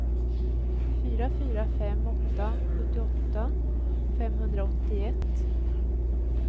fyra fyra fem åtta sjuttioåtta femhundraåttioett